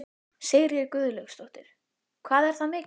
Sigríður Guðlaugsdóttir: Hvað er það mikið?